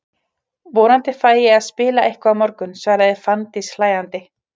Vonandi fæ ég að spila eitthvað á morgun, svaraði Fanndís hlæjandi.